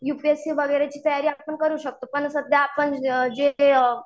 You P S C वगैरे ची तयारी आपण करू शकतो. पण सध्या आपण जे